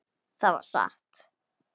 Það var satt.